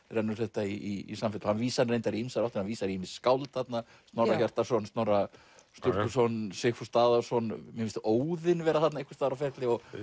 rennur þetta í samfellu hann vísar í ýmsar áttir hann vísar í ýmis skáld þarna Snorra Hjartarson Snorra Sturluson Sigfús Daðason mér finnst Óðinn vera þarna einhvers staðar á ferli og